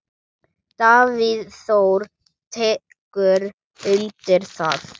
Davíð Þór tekur undir það.